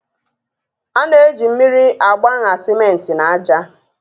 A na-eji mmiri agbaṅa simenti na aja.